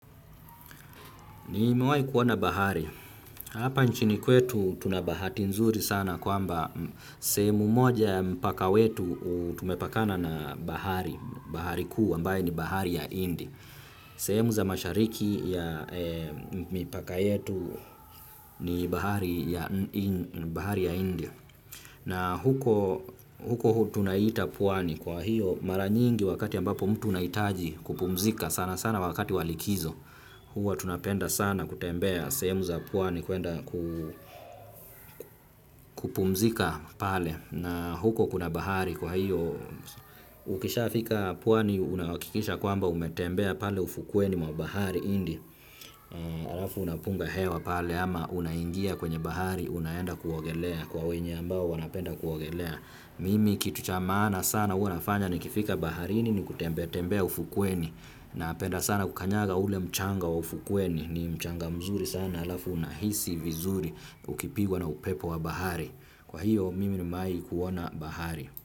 Nimewahi kuoana bahari. Hapa nchini kwetu tuna bahati nzuri sana kwamba sehemu moja mpaka wetu tumepakana na bahari. Bahari kuu ambayo ni Bahari ya Hindi. Semu za mashariki ya mipaka yetu ni Bahari ya Hindi. Na huko tunaita pwani. Kwa hivyo, mara nyingi wakati ambapo mtu unaitaji kupumzika sana sana wakati wa likizo. Hua tunapenda sana kutembea sehemu za pwani kuenda kupumzika pale. Na huko kuna bahari kwa hivyo ukishafika pwani unahakikisha kwamba umetembea pale ufukweni mwa Bahari Hindi alafu unapunga hewa pale ama unaingia kwenye bahari unaenda kuogelea kwa wenye ambao wanapenda kuogelea. Mimi kitu cha maana sana huwa nafanya nikifika baharini ni kutembea tembea ufukweni napenda sana kukanyaga ule mchanga wa ufukweni, ni mchanga mzuri sana. Halafu unahisi vizuri ukipigwa na upepo wa bahari. Kwa hivyo mimi nimewahi kuiona bahari.